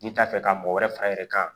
N'i t'a fɛ ka mɔgɔ wɛrɛ far'a yɛrɛ kan